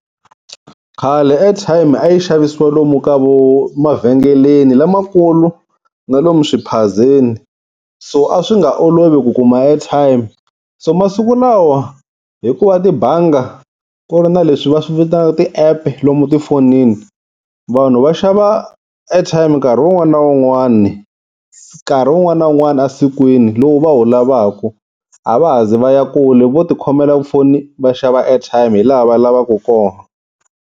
Khale airtime a yi xavisiwa lomu ka vo, emavhengeleni lamakulu na lomu swiphazeni. So a swi nga olovi ku kuma airtime, so masiku lawa hikuva tibanga ku ri na leswi va swi vitanaka ti-app lomu tifonini vanhu va xava airtime nkarhi wun'wani na wun'wani nkarhi wun'wani na wun'wani esikwini lowu va wu lavaka. A va ha zi va ya kule vo tikhomela tifoni va xava airtime hi laha va lavaku kona.